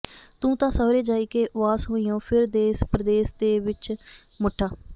ਤੂੰ ਤਾਂ ਸਾਹੁਰੇ ਜਾਇਕੇ ਵਾਸ ਹੋਈਓਂ ਫਿਰਾਂ ਦੇਸ ਪਰਦੇਸ ਦੇ ਵਿੱਚ ਮੁੱਠਾ